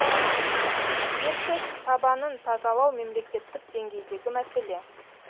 ертіс табанын тазалау мемлекеттік деңгейдегі мәселе